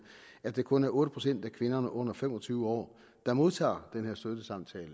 at det kun er otte procent af kvinderne under fem og tyve år der modtager den her støttesamtale